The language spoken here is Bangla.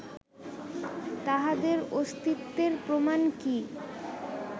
তাঁহাদের অস্তিত্বের প্রমাণ কি